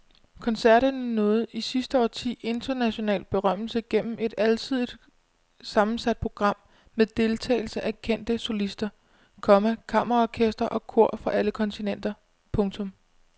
Koncerterne nåede i sidste årti international berømmelse gennem et alsidigt sammensat program med deltagelse af kendte solister, komma kammerorkestre og kor fra alle kontinenter. punktum